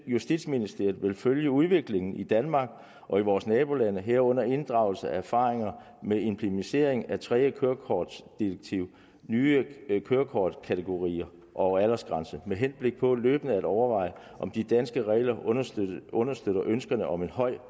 justitsministeriet vil følge udviklingen i danmark og vores nabolande herunder inddrage erfaringerne med implementeringen af tredje kørekortdirektivs nye kørekortkategorier og aldersgrænser med henblik på løbende at overveje om de danske regler understøtter understøtter ønsket om en høj